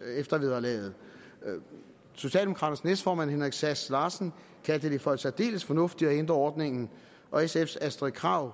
eftervederlaget socialdemokraternes næstformand herre henrik sass larsen kaldte det for særdeles fornuftigt at ændre ordningen og sfs fru astrid krag